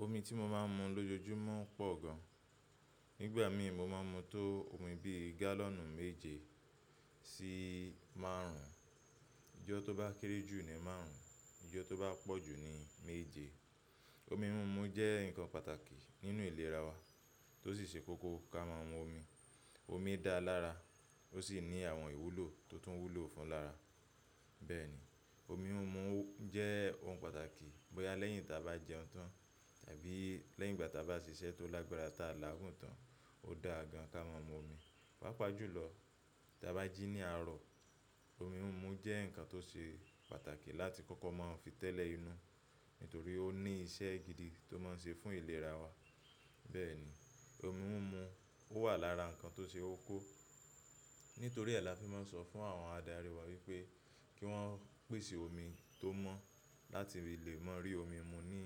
Omi tí mo máa ń mu lójoojúmọ́ pọ̀ gan. Nígbà mii mo máa ń mu tó omi bíi gálọ̀nù méje sí márùn-ún. Ijọ́ tó bá kéré jù ni márùn-ún, ijọ́ tó bá pọ̀ jù ni méje. Omi múmu jẹ́ ǹkan pàtàkì nínú ìlera wa, tó sì ṣe kókó ká máa mu omi. Omi dáa lára, ó sì ní àwọn ìwúlò tó tún wúlò fún lára. Bẹ́ẹ̀ni, omi múmu ó jẹ́ ohun pàtàkì bóyá lẹ́yìn tá bá jẹun tán àbí lẹ́yìn ìgbà tá bá ṣiṣẹ́ tó lágbára tàà láàgùn tán, ó dáa gan ká ma mu omi páapaá jù lọ tá bá jí ní àárọ̀, omi múmu ó jẹ́ ǹkan tó ṣe pàtàkì láti kọ́kọ́ máa fi tẹ́lẹ̀ inú, nítorí ó ní iṣẹ́ gidi tó máa ń ṣe fún ìlera wa. Bẹ́ẹ̀ni, omi múmu ó wà lára ǹkan tó ṣeókó. Nítorí ẹ́ la fi máa ń sọ fún àwọn adarí wa wípé kí wọ́n pèsè omi tó mọ́ láti rí lè máa rí omi mú ní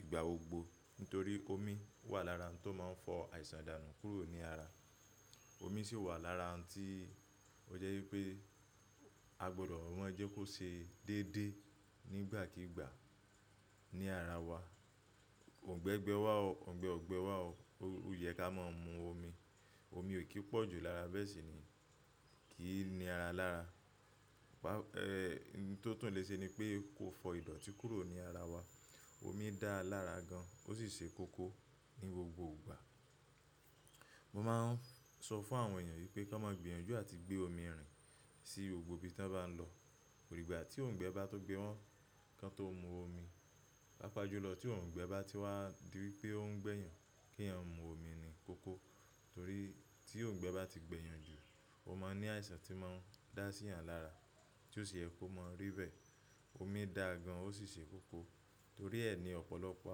ìgbà gbogbo. Nítorí omi wà lára ohun tó máa ń fọ àìsàn danu kúrò ní ara. Omi sì wà lára ohun tí ó jẹ́ wípé a gbọdọ̀ maa jẹ́ kó ṣe déédéé nígbàkígbà ní ara wa. Òǹgbẹ gbẹ wá o, òǹgbẹ ó gbé wa o, ó yẹ ká máa mu omi. Omi ò kí i pọ̀ jù lára bẹ́ẹ̀ sì ni kì í ní ara lára. Ẹ̀h, hun tó tún le ṣe ni pé kó fọ ìdọ̀tí kúrò ní ara wa. Omi dáa lára gan, ó sì ṣe kókó ní gbogbo ìgbà. Mo máa ń sọ fàwọn èèyàn wípé kán má gbìyànjú àti gbé omi rìn sí gbogbo ibi tọ́n bá n lọ. Kó dìgbà tí òǹgbẹ bá tó gbé wọn, kan tó mu omi. Paápaá jùlọ tí òǹgbẹ bá ti wá di wípé ó ń gbẹ́yan kí èèyàn mu omi ni kókó. Torí tí òǹgbẹ bá ti gbẹ́yan jù, ó máa ń ní àìsàn tí máa ń dá síyan lára tí ó sì yẹ kó máa rí bẹ́ẹ̀. Omi dáa gan, ó sì ṣe kókó. Torí ẹ́ ni ọ̀pọ̀lọpọ̀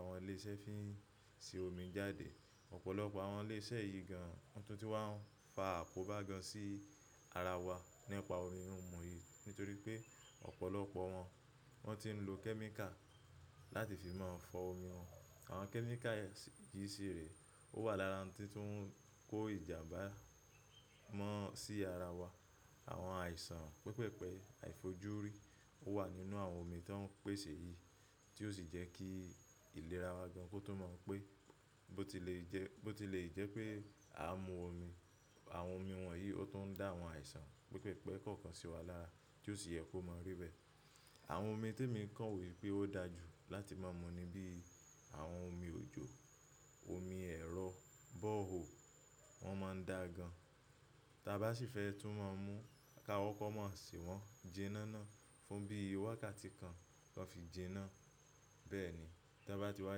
àwọn ilé iṣẹ́ fí ń ṣe omi jáde. Ọ̀pọ̀lọpọ̀ àwọn ilé iṣẹ́ yìí gan, wọn tún ti wà ń fa àkóbá gan sí ara wa nípa omi múmu yìí. Nítorí pé ọ̀pọ̀lọpọ̀ wọn wọ́n ti ń lo kẹ́míkà láti fi máa fọ omi wọn. Àwọn chemical yẹn s, yìí sì rẹ ó wà lára ohun tí tún ń kó ìjàmbá mọ́ sí ara wa. Àwọn àìsàn pẹpẹ̀pẹ̀, àìfojúrí ó wà nínú àwọn omi tóń pèsè yìí tí ó sì jẹ́ kí ìlera wa gan kó tún mọ pé bó tilè jẹ́, bó tilè jẹ́ pé a mu omi. Àwọn omi wọ̀nyí ó tún ń dá àwọn àìsàn pípẹ̀pẹ̀ kọ̀ọ̀kan sí wa lára tí ó sì yẹ kó máa rí bẹ́ẹ̀. Àwọn omi tèmi kàn wo wípé ó dáa jù láti máa mu ni bíi àwọn omi òjò, omi ẹ̀rọ, bore hole, wọ́n máa ń dáa gan. Tá bá sì fẹ́ tún máa mu, ká koko máa sè wọ́n jíná ná. Fún bí i wákàtí kan, kan fi jíná. Bẹ́ẹ̀ni, tón bá ti wá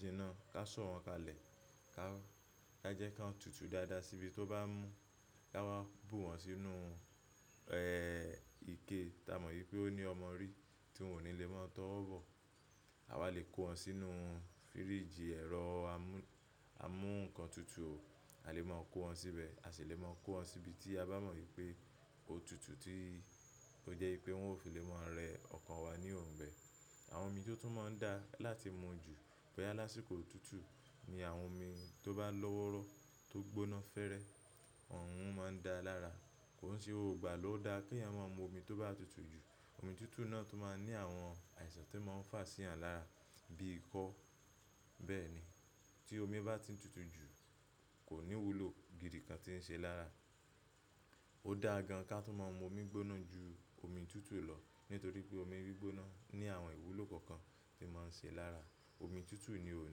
jíná, ká sọ̀ wọ́n kalẹ̀ ká, ká jẹ́ kón tútù dáadáa síbi tó bá mú. Ká wá bù wọn sínú eh, ike tá mo wípé ó ní omori tí wọn ò ní lè máa tọwọ́ bò. A wá lè kó wọn sínú fíríjì, ẹ̀rọ amú, amú ǹkan tutù. A lè máa kó wọn síbẹ̀, a sì lè máa kó wọn sibi tí a bá mọ̀ wípé ó tútú tí ó jẹ́ wípé wọn ò fi lè máa rẹ ọkàn wa ní òǹgbẹ. Àwọn omi tí ó tún máa ń daá láti mu jù bóyá lásìkò òtútù ni àwọn omi tó bá lọ́wọ́rọ́, tó gbóná fẹ́rẹ, ọ̀ùn máa ń dáa lára. Kò n ṣe gbogbo ìgbà ló dáa kíyàn máa mómi tó bá tútù jù. Omi tútù náà tún máa ń ní àwọn àìsàn tí máa ń fà síyan lára bíi ikọ́. Bẹ́ẹ̀ni, tí omi bá ti tutù jù kò nìwúlò gidi kan tí ń ṣe lára. Ó dáa gan ká tún máa mu omi gbóná ju omi tútù lọ. Nítorí pé omi gbóná ní àwọn ìwúlò kọ̀ọ̀kan tí máa ń ṣe lára. Omi tútù ni ò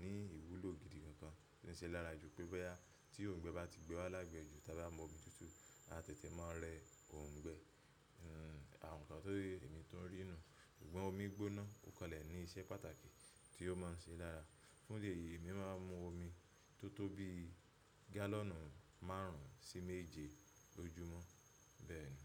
ní ìwúlò gidi kankan tí ń ṣe lára ju pé bóyá tí òǹgbẹ bá ti gbé wa lágbẹ́ju tá bá mú omi tútù, a tètè máa rẹ òǹgbẹ. Hmm, àwọn ǹkan tó yé èmi tó ń rì nù un. Ṣùgbọ́n omi gbóná kó kanlẹ̀ ní iṣẹ́ pàtàkì tí ó máa ń ṣe lára. Fún eléyìí èmi máa ń mu omi tó tó bíi gálọ̀nù márùn-ún sí méje lójúmọ́. Bẹ́ẹ̀ni.